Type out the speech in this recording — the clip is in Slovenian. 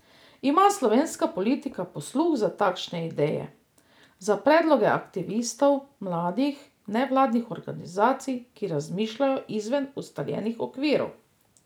Ima slovenska politika posluh za takšne ideje, za predloge aktivistov, mladih, nevladnih organizacij, ki razmišljajo izven ustaljenih okvirov?